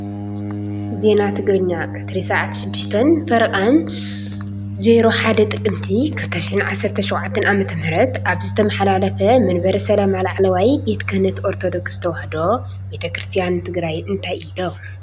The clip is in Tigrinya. ዜና ትግርኛ - ቀትሪ ስዓት 6:30 - 01 ጥቅምቲ 2017 ዓ/ም ኣብ ዝተማሓለለፈ መንበረ ሰላማ ላዕለዋይ ቤተ ክህነት ኦርተዶክስ ተዋህዶ ቤተ ክርስትያን ትግራየ እንታይ ኢሎም ?